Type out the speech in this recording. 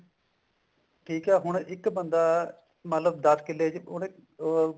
ਠੀਕ ਹੈ ਹੁਣ ਇੱਕ ਬੰਦਾ ਮਤਲਬ ਦਸ ਕਿੱਲੇ ਚ ਉਹਨੇ ਉਹ